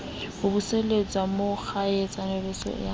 ho buseletsa mo kgwatshebetso wa